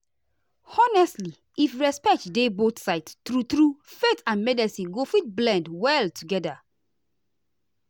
honestly if respect dey both sides true true faith and medicine go fit blend well together.